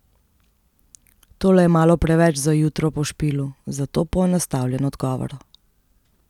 Tole je malo preveč za jutro po špilu, zato poenostavljen odgovor.